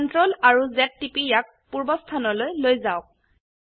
Ctrl আৰু Z টিপি ইয়াক পূৰ্বাবস্থানলৈ লৈ যাওক